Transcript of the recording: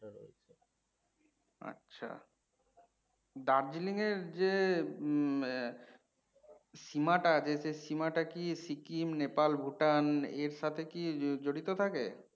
আচ্ছা। Darjeeling এর যে উম আহ সীমাটা যে সীমাটা কি সিকিম, নেপাল, ভূটান এর সাথে কি জড়িত থাকে?